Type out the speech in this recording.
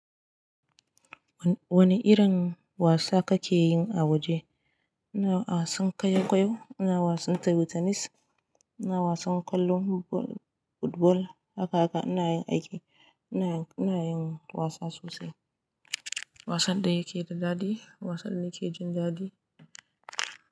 Wani irin wasa kakeyi a waje? Ina wasan ƙwaiƙwayo, ina wasan tebur tenis, ina wasan kwallon football haka haka. Ina yin aiki, ina ina yin wasa sosai. Wasan da yake da daɗi, wasan da nake jin daɗi.